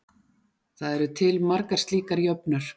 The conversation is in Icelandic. Það eru til margar slíkar jöfnur.